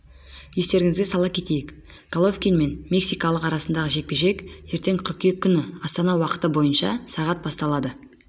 естеріңізге сала кетейік головкин мен мексикалықтың арасындағы жекпе-жек ертең қыркүйек күні астана уақыты бойынша сағат басталады